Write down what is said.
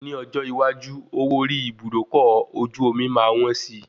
Ni ọjọ́ iwájú, owó orí Ibùdókọ̀ ojú omi máa wọ́n si.